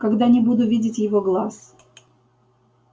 когда не буду видеть его глаз